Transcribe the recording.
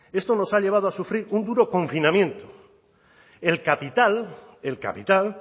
esto nos ha llevado a sufrir un duro confinamiento el capital el capital